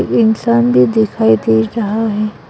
वे इंसान भी दिखाई दे रहा है।